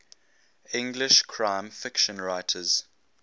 english crime fiction writers